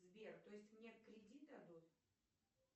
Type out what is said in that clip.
сбер то есть мне кредит дадут